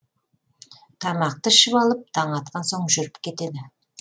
тамақты ішіп алып таң атқан соң жүріп кетеді